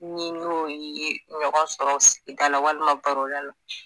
Ni n'o ye ɲɔgɔn sɔrɔ sigida la walima baroda la